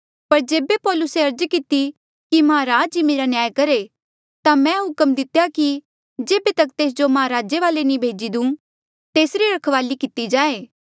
पर जेबे पौलुसे अर्ज किती कि महाराज ही मेरा न्याय करहे ता मैं हुक्म दितेया कि जेबे तक तेस जो महाराजे वाले नी भेजी देऊँ तेसरी रखवाली किती जाए